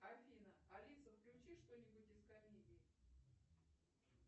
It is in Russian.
афина алиса включи что нибудь из комедии